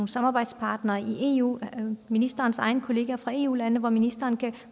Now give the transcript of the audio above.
samarbejdspartnere i eu ministerens egne kollegaer fra eu lande hvor ministeren kan